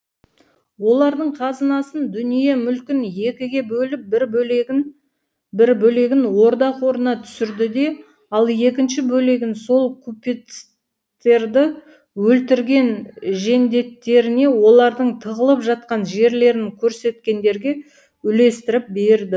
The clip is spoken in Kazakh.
олардың қазынасын дүние мүлкін екіге бөліп бір бөлегін бір бөлегін орда қорына түсірді де ал екінші бөлегін сол купецтерді өлтірген жендеттеріне олардың тығылып жатқан жерлерін көрсеткендерге үлестіріп берді